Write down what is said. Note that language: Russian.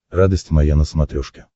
радость моя на смотрешке